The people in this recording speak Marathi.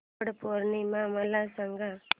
वट पौर्णिमा मला सांग